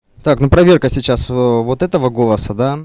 так ну проверка сейчас ээ вот этого голоса да